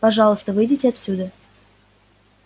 пожалуйста выйдите отсюда